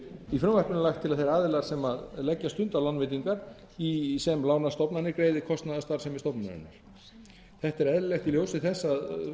í frumvarpinu er lagt til að þeir aðilar sem leggja stund á lánveitingar sem lánastofnanir greiði kostnað af starfsemi stofnunarinnar þetta er eðlilegt í ljósi þess að